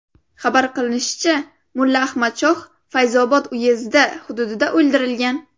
Xabar qilinishicha, mulla Ahmadshoh Fayzobod uyezdi hududida o‘ldirilgan.